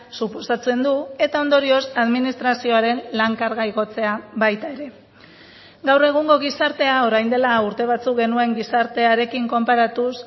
suposatzen du eta ondorioz administrazioaren lan karga igotzea baita ere gaur egungo gizartea orain dela urte batzuk genuen gizartearekin konparatuz